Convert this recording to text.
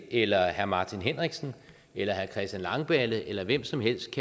eller herre martin henriksen eller herre christian langballe eller hvem som helst